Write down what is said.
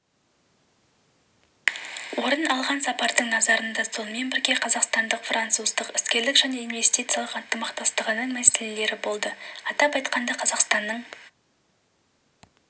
орын алған сапардың назарында сонымен бірге қазақстандық-француздық іскерлік және инвестициялық ынтымақтастығының мәселелері болды атап айтқанда қазақстанның